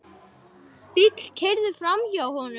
Bíll keyrði hægt framhjá honum.